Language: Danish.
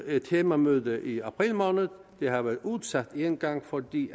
et temamøde i april måned det har været udsat én gang fordi